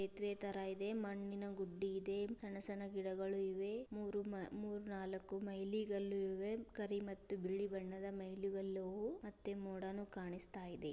ಸೇತುವೆ ತರ ಇದೆ. ಮಣ್ಣಿನ ಗುಡ್ಡೆ ಇದೆ ಹಣಸಿನ ಗಿಡಗಳು ಇವೆ. ಮೂರು-ಮೂರು ನಾಲಕ್ಕು ಮೈಲಿಗಳು ಇವೆ. ಕರಿ ಮತ್ತು ಬಿಳಿ ಬಣ್ಣದ ಮೈಲಿಗಲ್ಲು ಮತ್ತೆ ಮೋಡನೊ ಕಾಣಿಸ್ತಾಇದೆ.